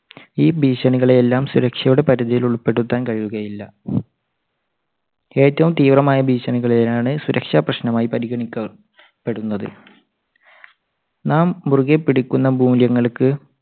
ഈ ഭീഷണികളെ എല്ലാം സുരക്ഷയുടെ പരിധിയിൽ ഉൾപ്പെടുത്താൻ കഴിയുകയില്ല. ഏറ്റവും തീവ്രമായ ഭീഷണികളെ ആണ് സുരക്ഷാ പ്രശ്നമായി പരിഗണിക്കുക~പെടുന്നത്. നാം മുറുകെപിടിക്കുന്ന മൂല്യങ്ങൾക്ക്